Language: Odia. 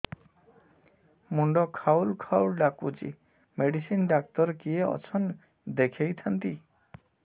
ମୁଣ୍ଡ ଖାଉଲ୍ ଖାଉଲ୍ ଡାକୁଚି ମେଡିସିନ ଡାକ୍ତର କିଏ ଅଛନ୍ ଦେଖେଇ ଥାନ୍ତି